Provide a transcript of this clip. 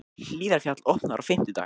Hlíðarfjall opnar á fimmtudag